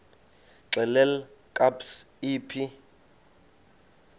xelel kabs iphi